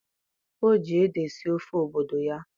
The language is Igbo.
o ji ede sie ofe obodo ya.